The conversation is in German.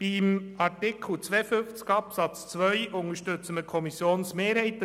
Bei Artikel 52 Absatz 2 unterstützen wir die Kommissionsmehrheit.